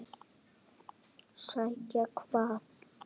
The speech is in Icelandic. Sækja hvað?